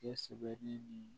Kɛ sɛbɛli nin